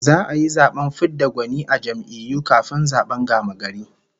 Za'a yi zaben fid da gwani na jam'iyyu kafin zaben gamagari